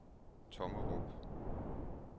Tommerup